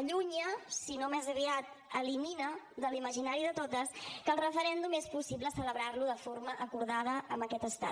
allunya si no més aviat elimina de l’imaginari de totes que el referèndum és possible celebrar lo de forma acordada amb aquest estat